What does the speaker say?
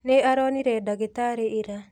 Nĩ aronire ndagitarĩ ira.